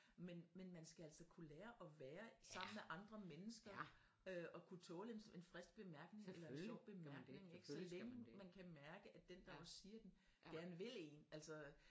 Men man skal altså kunne lære og være sammen med andre mennesker øh og kunne tåle en frisk bemærkning eller en sjov bemærkning ikke så længe man kan mærke at den der også siger den gerne vil en altså